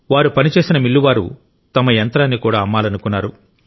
వారు పనిచేసిన మిల్లువారు తమ యంత్రాన్ని కూడా అమ్మాలనుకున్నారు